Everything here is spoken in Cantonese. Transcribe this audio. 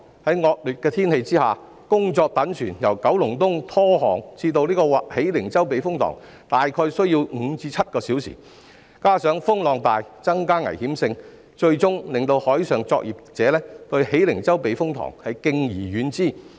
在惡劣天氣下，工作躉船由九龍東拖航至喜靈洲避風塘，大約需要5至7小時，加上風浪大，增加危險性，最終令海上作業者對喜靈洲避風塘敬而遠之。